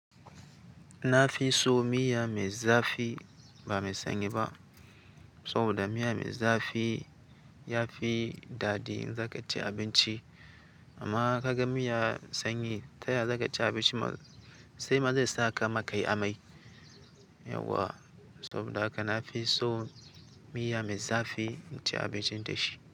Na fi so miya me zafi ba mai sanyi ba. Saboda miya me zafi ya fi daɗi in za ka ci abinci. Amma ka ga miya sanyi, taya za ka ci abinci? Sai ma zai saka ma ka yi amai. Yauwa, saboda haka na fi so miya me zafi in ci abincin da shi.